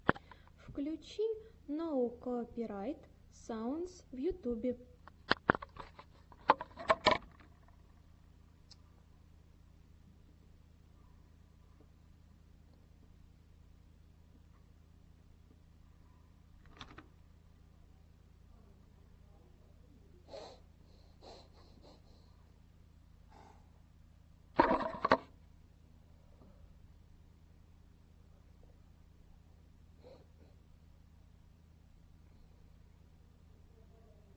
включи ноу копирайт саундс в ютубе